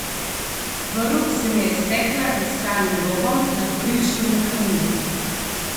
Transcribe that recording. Vrv se mi je iztekla za skalnim robom nad Brinškovim kaminom.